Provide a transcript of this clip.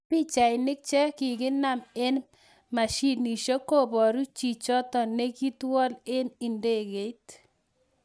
Pichainik che kiginem en mashinishek koboru chtio ne kiitwol en ndegeit